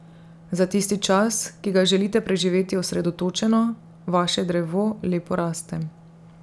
Za tisti čas, ki ga želite preživeti osredotočeno, vaše drevo lepo raste.